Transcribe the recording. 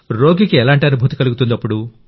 రోగికి ఎలాంటి అనుభూతి కలుగుతుంది